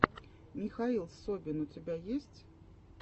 михаил собин у тебя есть